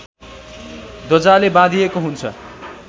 ध्वजाले बाँधिएको हुन्छ